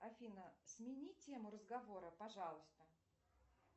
афина смени тему разговора пожалуйста